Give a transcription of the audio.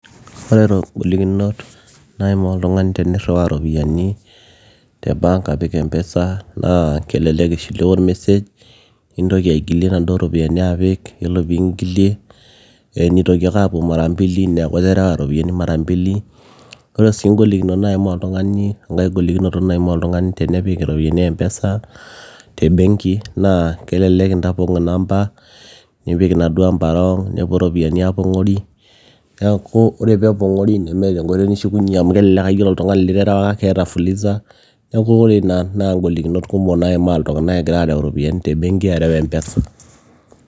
oreto ngolikinot naimaa oltung'ani tenirriwaa iropiyiani te bank apik mpesa naa kelelek ishiliwa ormesej nintoki aigilie inaduo ropiyiani apik yiolo piingilie nitoki ake aapuo mara mbili neeku iterewa iropiyiani mara mbili ore sii ingolikinot naimaa oltung'ani enkae golikinoto naimaa oltung'ani tenepik iropiyiani mpesa te benki naa kelelek intapong inamba nipik inaduo ampa wrong nepuo iropiyiani aapong'ori niaku ore peepong'ori nemeeta enkoitoi nishukunyie amu kelelek aa yiolo oltung'ani literewaka naa keeta fuliza neku ore ina naa ingolikinot kumok naimaa iltung'anak egira arew iropiyiani te benki arew mpesa.